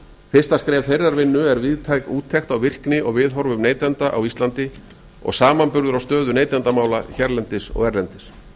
fyrsta skref þeirrar vinnu er víðtæk takt á virkni og viðhorfum neytenda á íslandi og samanburður á stöðu neytendamála hér bendir og erlendis